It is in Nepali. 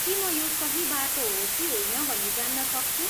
के म यो सही बाटो हो कि होइन भनी जान्न सक्छु?